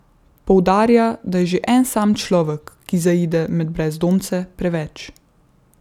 Poudarja, da je že en sam človek, ki zaide med brezdomce, preveč.